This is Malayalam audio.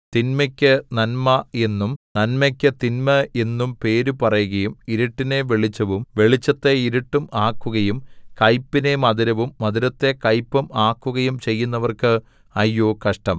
തിന്മയ്ക്ക് നന്മ എന്നും നന്മയ്ക്കു തിന്മ എന്നും പേര് പറയുകയും ഇരുട്ടിനെ വെളിച്ചവും വെളിച്ചത്തെ ഇരുട്ടും ആക്കുകയും കൈപ്പിനെ മധുരവും മധുരത്തെ കയ്പും ആക്കുകയും ചെയ്യുന്നവർക്ക് അയ്യോ കഷ്ടം